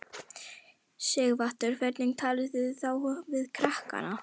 Sighvatur: Hvernig talið þið þá við krakkana?